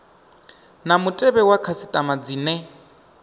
na mutevhe wa khasitama dzine